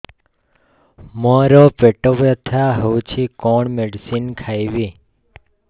ମୋର ପେଟ ବ୍ୟଥା ହଉଚି କଣ ମେଡିସିନ ଖାଇବି